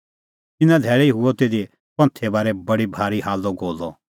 तिन्नां धैल़ै हुअ तिधी पंथे बारै बडअ भारी हाल्लअगोल्लअ